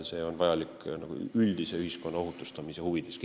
See on vajalik ühiskonna üldise ohutustamise huvides.